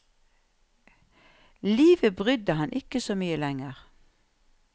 Livet brydde ham ikke så mye lenger.